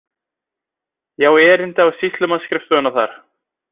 Ég á erindi á sýslumannsskrifstofuna þar.